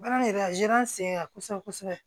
Baara in yɛrɛ a sen ka kosɛbɛ kosɛbɛ